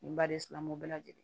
Nin baden sinamu bɛɛ lajɛlen